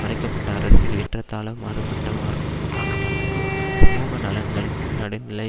மறைக்க பட்ட அரசு ஏறத்தாழ மாறுபட்ட வார்க்கங்களுக்கு சமூக நலன்களுக்கும் நடுநிலை